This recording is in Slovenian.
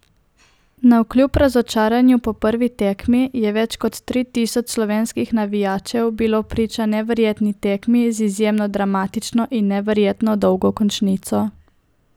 Navkljub razočaranju po prvi tekmi je več kot tri tisoč slovenskih navijačev bilo priča neverjetni tekmi z izjemno dramatično in neverjetno dolgo končnico.